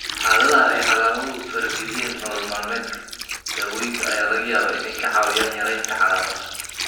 Xaaladaha ay calaamaduhu farageliyaan nolol maalmeedka, dawooyinka ayaa laga yaabaa inay kaa caawiyaan yaraynta calaamadaha.